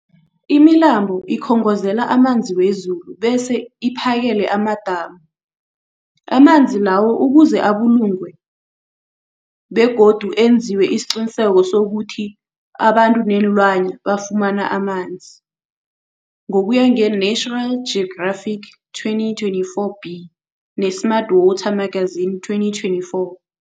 Imilambo ikhongozela amanzi wezulu bese iphakele amadamu amanzi lawo ukuze abulungwe amanzi begodu enziwe isiqiniseko sokuthi abantu neenlwana bafumana amanzi, ngokuya nge-National Geographic 2024b, ne-Smart Water Magazine 2024.